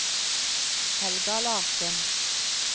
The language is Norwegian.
Helga Larssen